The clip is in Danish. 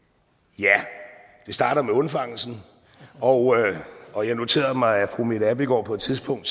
ja det starter med undfangelsen og og jeg noterede mig at fru mette abildgaard på et tidspunkt